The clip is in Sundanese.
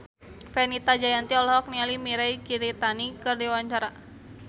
Fenita Jayanti olohok ningali Mirei Kiritani keur diwawancara